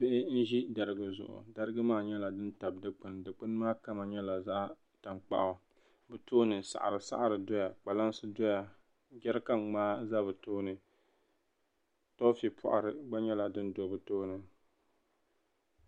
Bihi n ʒi darigi zuɣu darigi maa nyɛla din tabi dikpuni dikpuni maa kama nyɛla zaɣ tankpaɣu bi tooni saɣiri saɣiri doya kpalansi doya jɛrikan ŋmaa do bo tooni toofi paɣari gba nyɛla din do bi tooni